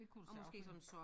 Det kunne det sagtens være